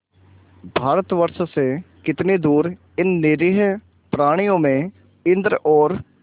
भारतवर्ष से कितनी दूर इन निरीह प्राणियों में इंद्र और